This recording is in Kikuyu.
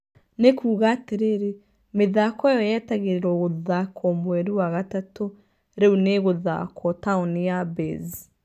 Nĩ kuuga atirĩrĩ mĩthako ĩyo yetagĩrirwo gũthakwo mweri wa gatatũ rĩu nĩ ĩgũthakwo taũni ya Baze